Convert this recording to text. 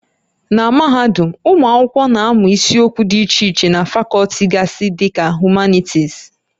Na mahadum, ụmụ akwụkwọ na-amụ isiokwu dị iche iche na fakọlti gasị dị ka Humanities